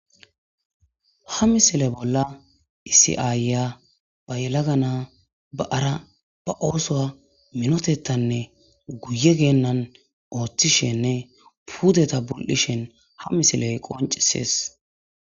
ha misile bolla isiya ayya ba yalaga naa ba'ara ba ooso minotettanne guye geennan ooththishenne pudeta bul'ishen ha misiley qoncisees